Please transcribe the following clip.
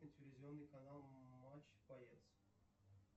телевизионный канал матч боец